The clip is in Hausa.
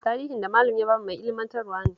Tarihin da Malam ya ba mu mai ilmantarwa ne